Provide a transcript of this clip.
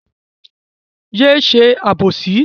Yé ṣe àbòsí!